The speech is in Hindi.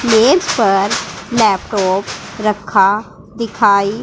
मेज पर लैपटॉप रखा दिखाई--